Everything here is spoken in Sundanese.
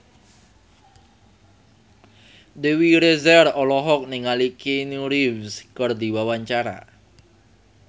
Dewi Rezer olohok ningali Keanu Reeves keur diwawancara